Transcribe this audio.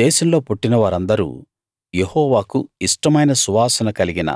దేశంలో పుట్టిన వారందరూ యెహోవాకు ఇష్టమైన సువాసన కలిగిన